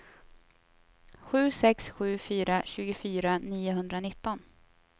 sju sex sju fyra tjugofyra niohundranitton